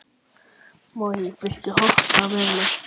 Móey, viltu hoppa með mér?